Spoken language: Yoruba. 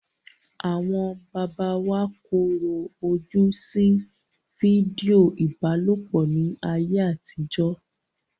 Àwọn bàbá wa korò ojú sí fídíò ìbálòpọ̀ ní ayé àtijó.